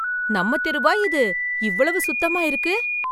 நம்ம தெருவா இது! இவ்வளவு சுத்தமா இருக்கு?